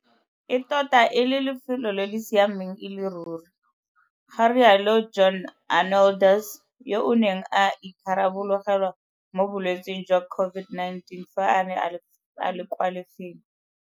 E tota e le lefelo le le siameng e le ruri, ga rialo John Arnoldus, yo a neng a itharabologelwa mo bolwetseng jwa COVID-19 fa a ne a le kwa lefelo.